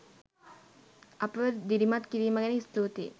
අපව දිරිමත් කිරීම ගැන ස්තුතියි.